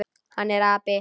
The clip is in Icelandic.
Hann er api.